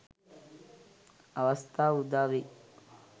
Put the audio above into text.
අවස්‌ථා උදා වෙයි.